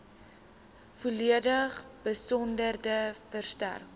volledige besonderhede verstrek